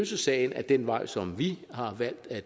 sagen ad den vej som vi har valgt at